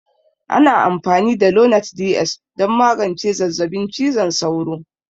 Ana amfani da lonart DS don magance zazzabin cizon sauro